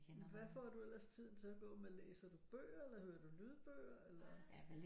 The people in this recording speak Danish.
Hvad får du ellers tiden til at gå med læser du bøger eller hører du lydbøger eller